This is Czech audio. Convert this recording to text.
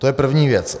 To je první věc.